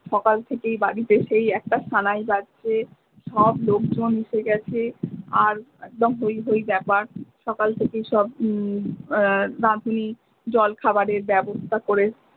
সকাল থেকেই বাড়িতে সেই একটা সানাই বাজঝে সব লোকজন এসে গেছে আর একদম হই হই ব্যাপার সকাল থেকেই সব জল খাবারের বাবস্থা করে।